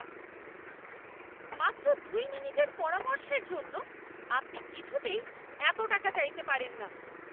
মাত্র দুই মিনিটের পরামর্শের জন্য আপনি কিছুতেই এত টাকা চাইতে পারেন না!